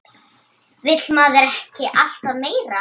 Vill maður ekki alltaf meira?